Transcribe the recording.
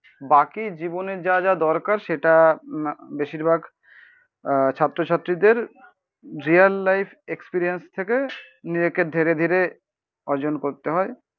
বাকি জীবনে যা যা দরকার সেটা বেশিরভাগ আহ ছাত্রছাত্রীদের রিয়েল লাইফ এক্সপেরিয়েন্স থেকে নিজেকে ধীরে ধীরে অর্জন করতে হয়।